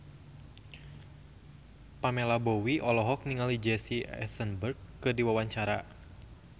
Pamela Bowie olohok ningali Jesse Eisenberg keur diwawancara